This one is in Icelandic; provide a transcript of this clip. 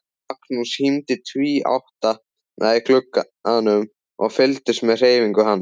Magnús hímdi tvíátta í glugganum og fylgdist með hreyfingum hans.